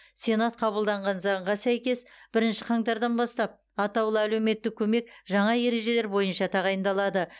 сенат қабылдаған заңға сәйкес бірінші қаңтардан бастап атаулы әлеуметтік көмек жаңа ережелер бойынша тағайындалады